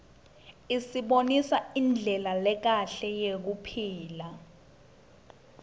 isibonisa indlela lekahle yekuphila